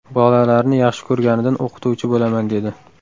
Bolalarni yaxshi ko‘rganidan o‘qituvchi bo‘laman dedi.